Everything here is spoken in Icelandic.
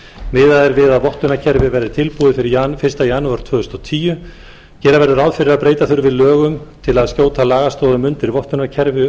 miðað er við að vottunarkerfi verði tilbúið fyrir fyrsta janúar tvö þúsund og tíu gera verður ráð fyrir að breyta þurfi lögum til að skjóta lagastoðum undir vottunarkerfi